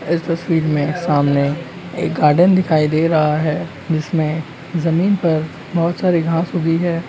इस तस्वीर में समाने एक गार्डन दिखाई दे रहा है जिसमे जमीन पर बहुत सारी घास उगी है।